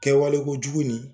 Kɛwale ko jugu in